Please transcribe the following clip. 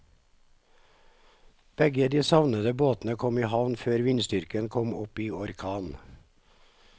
Begge de savnede båtene kom i havn før vindstyrken kom opp i orkan.